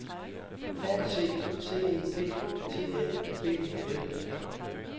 A C C E P T A B E L